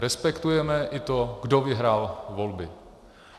Respektujeme i to, kdo vyhrál volby.